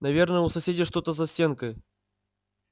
наверное у соседей что-то за стенкой